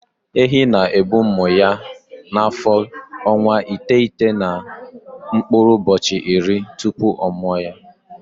Ehi na-ebu ụmụ ya n'afọ ọnwa iteghete na mkpụrụ ụbọchị iri tupu ọ mụa ha.